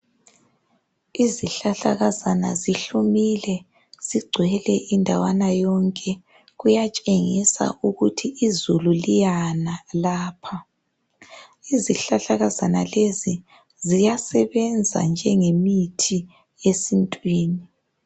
Izihlahlakazana zihlumile zigcwele indawana yonke. Kuyatshengisa ukuthi izulu liyana lapha. Izihlahlakazana lezi ziyasebenza njengemithi esintwini.